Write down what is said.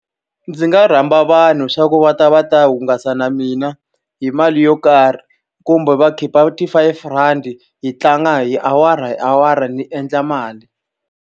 Ndzi nga rhamba vanhu leswaku va ta va ta hungasa na mina hi mali yo karhi, kumbe va khipa ti-five randi hi tlanga hi awara hi awara ni endla mali.